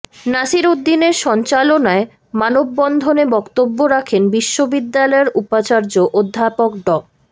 নাসির উদ্দিনের সঞ্চালনায় মানববন্ধনে বক্তব্য রাখেন বিশ্ববিদ্যালয়ের উপাচার্য অধ্যাপক ড